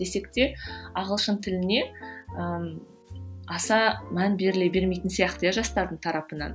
десек те ағылшын тіліне ыыы аса мән беріле бермейтін сияқты иә жастардың тарапынан